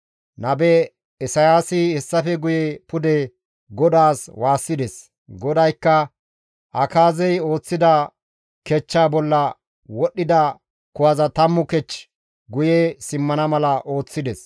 Nabe Isayaasi hessafe guye pude GODAAS waassides; GODAYKKA Akaazey ooththida kechchaa bolla wodhdhida kuwaza 10 kech guye simmana mala ooththides.